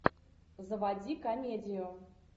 заводи комедию